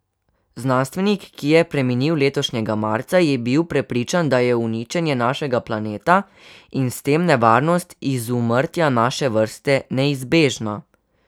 Znanstvenik, ki je preminil letošnjega marca, je bil prepričan, da je uničenje našega planeta, in s tem nevarnost izumrtja naše vrste, neizbežna.